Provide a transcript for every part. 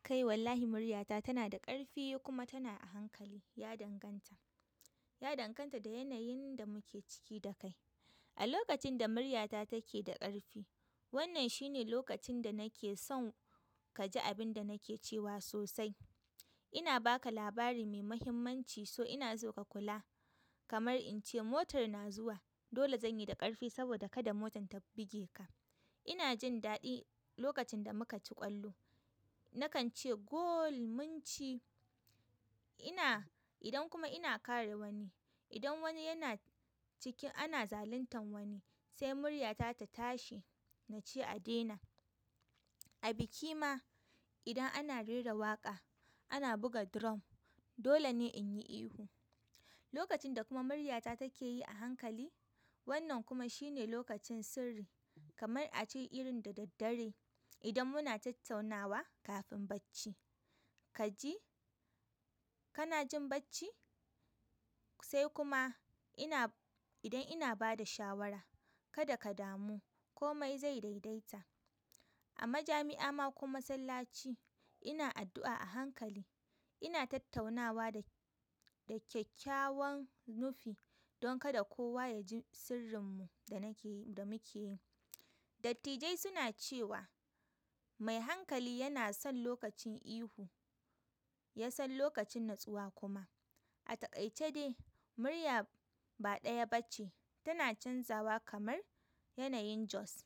Kai wallahi muryata tanada ƙarfi kuma tana a hankali, ya danganta. Ya danganta da yanayin da muke ciki da kai. A lokacin da muryata take da ƙarfi, wannan shine lokacin danake son kaji abinda nake cewa sosai. Ina baka labari mai muhimmanci, so inaso ka kula. Kamar ince motor na zuwa dole zanyi da ƙarfi saboda kada motar ta bige ka ina jin daɗi lokacin da muka ci ƙwallo. Nakance "goool munci". Ina, idan kuma ina kare wani, idan wani yana cikin ana zaluntan wani, sai murya ta tatashi nace a daina. A biki ma idan ana rera waƙa, ana buga drum, dole ne in yi ihu. Lokacin da kuma murya ta take yi a hankali, wannan kuma shine lokacin sirri. Kamar a ce irin da daddare idan muna tattaunawa kafin bacci. Ka ji? Kana jin bacci? Sai kuma ina, idan ina ba da shawara, kada ka damu komai zai daidaita. Amajami'a ma ko kuma massalaci ina addu'a a hankali ina, idan kuma ina kare wani, idan wani yana cikin ana zaluntan wani, sai murya ta tatashi nace a daina. Dattijai suna cewa mai hankali yana son lokacin ihu, ya son lokacin natsuwa kuma. A taƙaice de murya ba ɗaya bace, tana canzawa kamar yanayin Jos.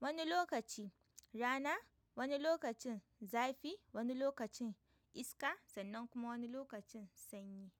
Wani lokaci rana, wani lokacin zafi, wani lokacin iska sannan kuma wani lokacin sanyi.